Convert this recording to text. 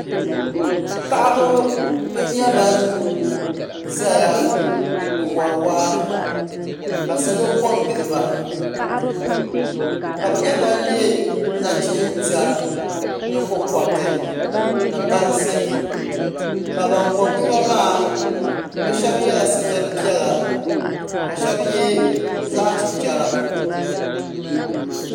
Paɣaba n nyɛ ban ʒɛya n wori waa ka salo ko n giliba ka bi nyɛ ban yɛ nachin tiɛri nyingokoriti ni bansi ka ban ko n giliba maa bi shab yɛla sitiri piɛla ka shab yɛ zaɣ chichɛra